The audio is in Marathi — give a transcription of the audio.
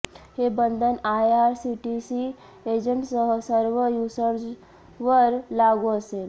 हे बंधन आयआरसीटीसी एजंटसह सर्व युजर्सवर लागू असेल